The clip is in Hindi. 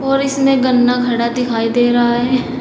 और इसमें गन्ना खड़ा दिखाई दे रहा है।